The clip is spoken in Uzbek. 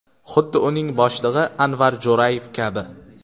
Xuddi uning boshlig‘i Anvar Jo‘rayev kabi.